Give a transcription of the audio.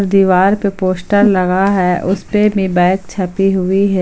दीवार पे पोस्टर लगा है उस पे में बैक छपी हुई है।